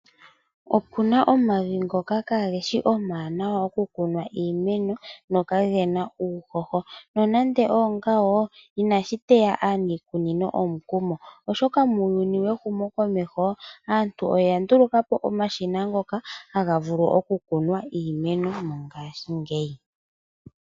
Opuna omavi ngoka kaageshi omawaanawa okukunna iimeno gokagena uuhoho nonande, oongawoo inashiteya aaniikunino omukumo. Oshoka muuyuni wehumo komeho aantu oyandulukapo omashina, ngoka hagavulu okukunwa iimeno mongaashingeyi.